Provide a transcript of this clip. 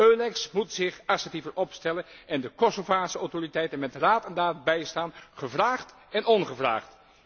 EULEX moet zich assertiever opstellen en de Kosovaarse autoriteiten met raad en daad bijstaan, gevraagd en ongevraagd.